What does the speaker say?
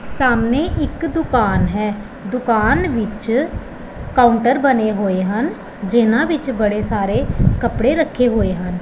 ਸਾਹਮਣੇ ਇੱਕ ਦੁਕਾਨ ਹੈ ਦੁਕਾਨ ਵਿੱਚ ਕਾਉੰਟਰ ਬਣੇ ਹੋਏ ਹਨ ਜਿਹਨਾਂ ਵਿੱਚ ਬੜੇ ਸਾਰੇ ਕੱਪੜੇ ਰੱਖੇ ਹੋਏ ਹਨ।